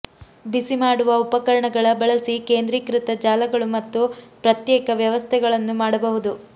ಬಿಸಿಮಾಡುವ ಉಪಕರಣಗಳ ಬಳಸಿ ಕೇಂದ್ರೀಕೃತ ಜಾಲಗಳು ಮತ್ತು ಪ್ರತ್ಯೇಕ ವ್ಯವಸ್ಥೆಗಳನ್ನು ಮಾಡಬಹುದು